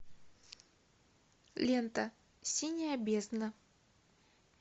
лента синяя бездна